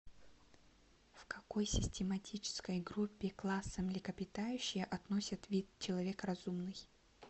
в какой систематической группе класса млекопитающие относят вид человек разумный